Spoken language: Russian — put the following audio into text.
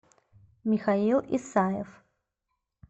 михаил исаев